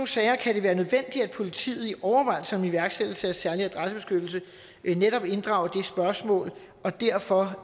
sager kan det være nødvendigt at politiet i overvejelserne om iværksættelse af særlig adressebeskyttelse netop inddrager spørgsmål og derfor